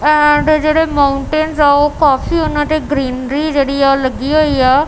And ਜਿਹੜੇ mountain ਆ ਉਹ ਕਾਫੀ ਉਹਨਾਂ ਤੇ ਗਰੀਨਰੀ ਜਿਹੜੀ ਆ ਉਹ ਲੱਗੀ ਹੋਈ ਆ।